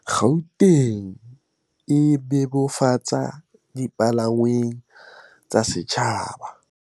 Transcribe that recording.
Gauteng e bebofatsa dipalangwang tsa setjhaba